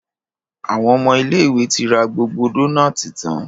Àwọn ọmọ ilé ìwé tí ra gbogbo Dónáátì tán.